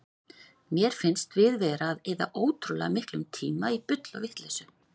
Mér finnst við vera að eyða ótrúlega miklum tíma í bull og vitleysu.